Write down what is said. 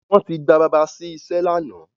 Wọ́n ti gba bàbá sí iṣẹ́ lánàá.